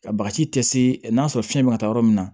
Ka bagaji tɛ se n'a sɔrɔ fiɲɛ bɛ ka taa yɔrɔ min na